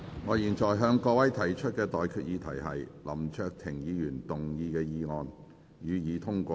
我現在向各位提出的待決議題是：林卓廷議員動議的議案，予以通過。